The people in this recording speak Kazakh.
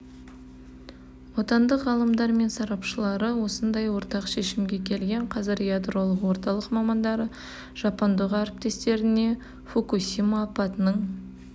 отандық ғалымдар мен сарапшылары осындай ортақ шешімге келген қазір ядролық орталық мамандары жапондық әріптестеріне фукусимо апатының